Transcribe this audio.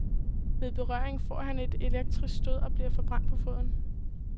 Ved berøringen får han et elektrisk stød og bliver forbrændt på foden.